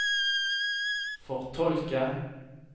fortolke